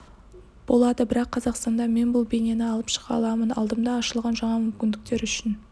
болады бірақ қазақстанда мен бұл бейнені алып шыға аламын алдымда ашылған жаңа мүмкіндіктер үшін